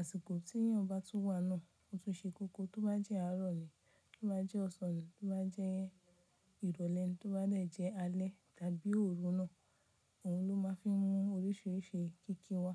àsìkò tí èèyàn bá tún wà náà, ó tún ṣe koko. Tó bá jẹ́ àárọ̀ ni, tó bá jẹ́ ọ̀sán ni, tó bá jẹ́ ìrọ̀lẹ́ ni, tó bá dẹ̀ jẹ́ alẹ́ tàbí òru náà, òun ló máa ń fi mú oríṣiríṣi kíkí wà.